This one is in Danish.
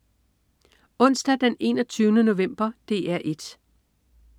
Onsdag den 21. november - DR 1: